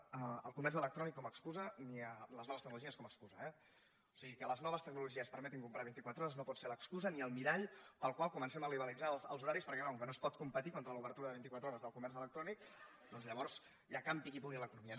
el comerç electrònic com a excusa ni les noves tecnologies com a excusa eh o sigui que les noves tecnologies permetin comprar les vint i quatre hores no pot ser l’excusa ni el mirall pel qual comencem a liberalitzar els horaris perquè clar com que no es pot competir contra l’obertura de vint i quatre hores del comerç electrònic doncs llavors ja campi qui pugui en l’economia